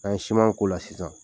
N'an ye k'o la sisan